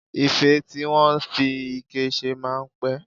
Ife tí wọ́n fi ike ṣe máa ń pẹ̀